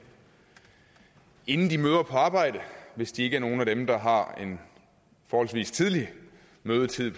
inden de møder på arbejde hvis de ikke er nogle af dem der har en forholdsvis tidlig mødetid